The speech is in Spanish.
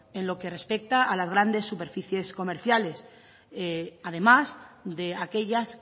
en lo que respecta a las grandes superficies comerciales además de aquellas